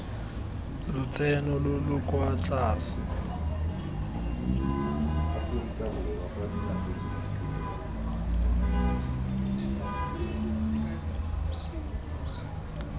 lotseno lo lo kwa tlase